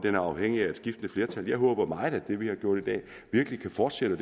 er afhængig af skiftende flertal jeg håber meget at det vi har gjort i dag virkelig kan fortsætte